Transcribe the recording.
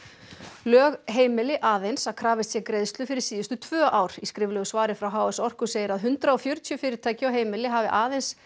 lög heimili aðeins að krafist sé greiðslu fyrir síðustu tvö ár í skriflegu svari frá h s Orku segir að hundrað og fjörutíu fyrirtæki og heimili hafi aðeins